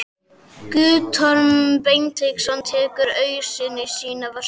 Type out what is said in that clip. Guttormur Beinteinsson tekur ausuna í sína vörslu.